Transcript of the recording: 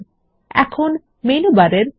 তাহলে নথির একটি পৃষ্ঠার উপর ক্লিক করুন